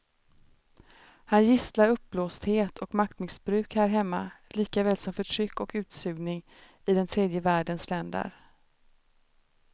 Han gisslar uppblåsthet och maktmissbruk här hemma likaväl som förtryck och utsugning i den tredje världens länder.